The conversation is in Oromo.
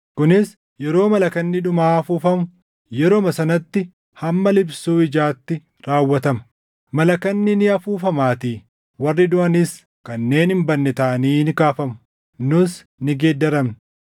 kunis yeroo malakanni dhumaa afuufamu yeruma sanatti hamma liphsuu ijaatti raawwatama. Malakanni ni afuufamaatii; warri duʼanis kanneen hin badne taʼanii ni kaafamu; nus ni geeddaramna.